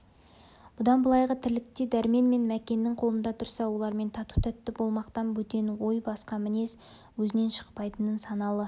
бұдан былайғы тірлікте дәрмен мен мәкеннің қолында тұрса олармен тату-тәтті болмақтан бөтен ой басқа мінез өзінен шықпайтынын саналы